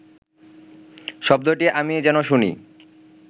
শব্দটি আমি যেন শুনি